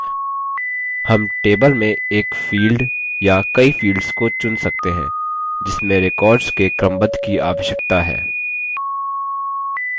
हम table में एक field या कई fields को चुन सकते हैं जिसमें records के क्रमबद्ध की आवश्यकता है